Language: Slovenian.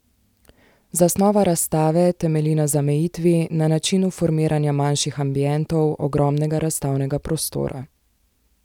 Zasnova razstave temelji na zamejitvi, na načinu formiranja manjših ambientov, ogromnega razstavnega prostora.